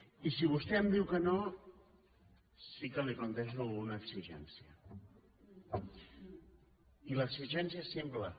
i si vostè em diu que no sí que li plantejo una exigència i l’exigència és simple